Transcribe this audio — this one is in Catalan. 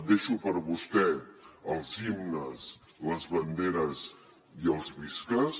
deixo per a vostè els himnes les banderes i els visques